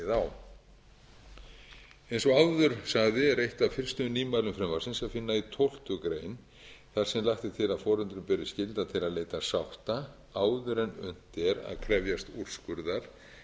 á eins og áður sagði er eitt af fyrstu nýmælum frumvarpsins að finna í tólftu greinar þar sem lagt er til að foreldrum beri skylda til að leita sátta áður en unnt er að krefjast úrskurðar eða höfða